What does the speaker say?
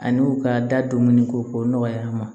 Ani u ka da don minnu ko k'o nɔgɔya an ma